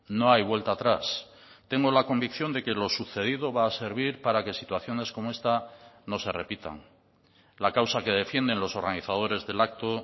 no hay vuelta atrás tengo la convicción de que lo sucedido va a servir para que situaciones como esta no se repitan la causa que defienden los organizadores del acto